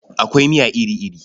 Akwai miya iri-iri.